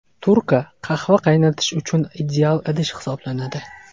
Turka qahva qaynatish uchun ideal idish hisoblanadi.